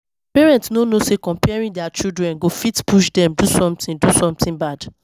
Parents no know say comparing their children go fit push dem do something do something bad